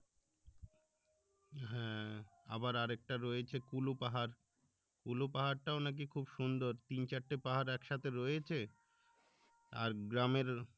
হ্যাঁ আবার আরেকটা রয়েছে কুলু পাহাড় কুলু পাহাড়টাও নাকি সুন্দর তিন চারটে পাহাড় একসাথে রয়েছে আর গ্রামের